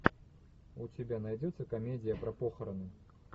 у тебя найдется комедия про похороны